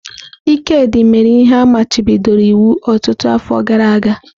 Ikedi mere ihe a machibidoro iwu ọtụtụ afọ gara aga.